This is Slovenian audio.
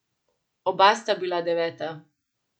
Oba sta bila deveta.